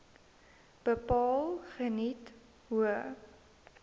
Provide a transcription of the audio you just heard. bepaal geniet hoë